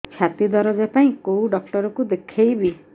ଛାତି ଦରଜ ପାଇଁ କୋଉ ଡକ୍ଟର କୁ ଦେଖେଇବି